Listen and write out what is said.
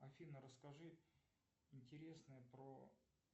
афина расскажи интересное про